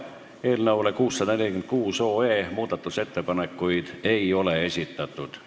Eelnõu 646 kohta muudatusettepanekuid ei ole esitatud.